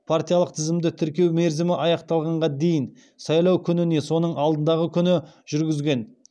партиялық тізімді тіркеу мерзімі аяқталғанға дейін сайлау күні не соның алдындағы күні жүргізген